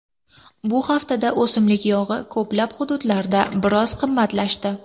Bu haftada o‘simlik yog‘i ko‘plab hududlarda biroz qimmatlashdi.